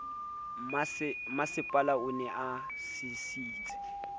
mmasepala o ne a sisintse